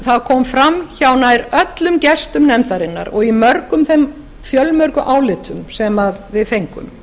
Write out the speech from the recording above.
það kom fram hjá öllum gestum nefndarinnar og í mörgum þeim fjölmörgu álitum sem við fengum